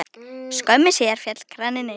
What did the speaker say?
Skömmu síðar féll kraninn einnig.